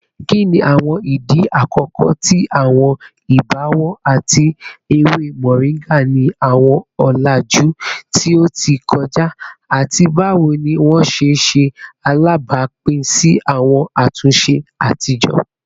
Kini awọn idi akọkọ ti awọn ibọwọ ati ewe moringa ni awọn ọlaju ti o ti kọja, ati bawo ni wọn ṣe ṣe alabapin si awọn atunṣe atijọ?